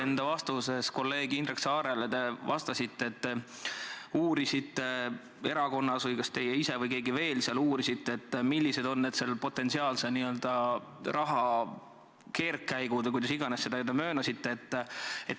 Enda vastuses kolleeg Indrek Saarele te vastasite, et te uurisite erakonnas või kas teie ise või keegi veel seal uurisite, millised on selle potentsiaalse raha keerdkäigud või kuidas iganes te seda möönsite.